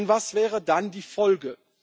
Denn was wäre dann die Folge?